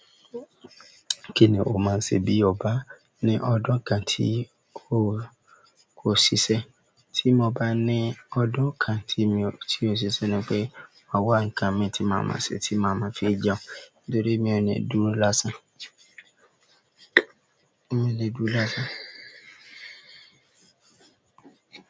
Kíní o máa ṣe bí o bá ní ọjọ́ kan tí ò ṣiṣẹ́. Tí mo bá ní ọdún kan tí òṣìṣẹ́ ni pé, ma wá nǹkan mi tí màá máa sẹ, tí màá máa fi jẹun nítorí mí ò ní dúró lásán. Mí ò le dúró lásán.